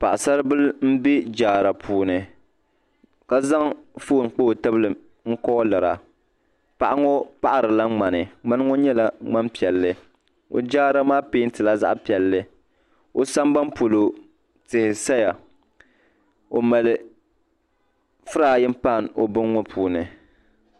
Paɣasaribili n be jaara puuni , kazaŋ fɔn n kpa ɔ tibili nkoolira ,paɣaŋɔ paɣirila ŋmani mŋaniŋɔ nyɛla mŋanpiɛli ɔjaaramaa pɛɛntila zaɣipiɛli ɔsaban polɔ tihi saya ɔmali frinpain ɔ bini maa puuni